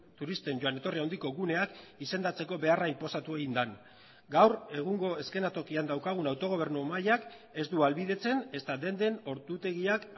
turisten joan etorri handiko guneak izendatzeko beharra inposatu egin den gaur egungo eszenatokian daukagun autogobernu mailak ez du ahalbidetzen ezta denden ordutegiak